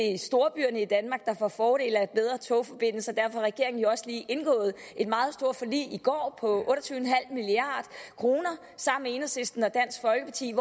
er storbyerne i danmark der får fordele af bedre togforbindelser derfor har regeringen jo også lige i går otte og tyve milliard kroner med enhedslisten og dansk folkeparti